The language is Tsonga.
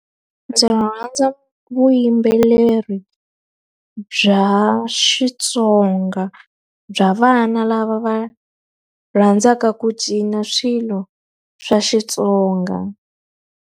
Ndzi rhandza vuyimbeleri bya Xitsonga, bya vana lava va rhandzaka ku cina swilo swa Xitsonga.